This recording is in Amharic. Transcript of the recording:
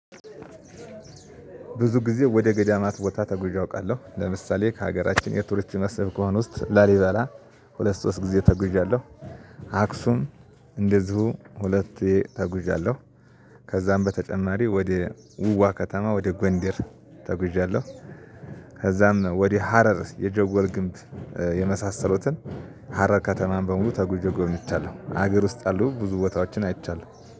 ብዙ ጊዜ ወደ ገዳማት ቦታ ተጉዤ አውቃለሁ ለምሳሌ ከሀገራችን የቱሪስት መስብ ከሆነ ውስጥ ላሊባላ ሁለት ሶስት ጊዜ ተጉዣለሁ። አክሱም እንደዚሁ ሁለቴ ተጉዣለሁ። ከዛም በተጨማሪ ወደ ውዋ ከተማ ወደ ጎንዴር ተጉዣለሁ። ከዛም ወደ ሀረር የጀጎል ግንብ የመሳሰሉትን ሀረር ከተማን በሙሉ ተጉዤ ጎብኝቻለሁ። ሀገር ውስጥ ያሉ ብዙ ቦታዎችን አይቻለሁ።